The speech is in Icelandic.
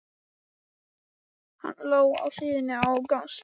Hann lá á hliðinni á gangstéttinni.